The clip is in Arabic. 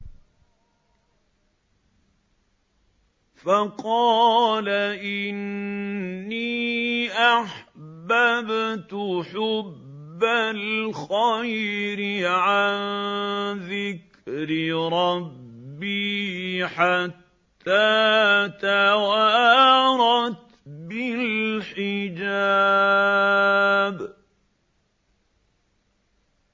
فَقَالَ إِنِّي أَحْبَبْتُ حُبَّ الْخَيْرِ عَن ذِكْرِ رَبِّي حَتَّىٰ تَوَارَتْ بِالْحِجَابِ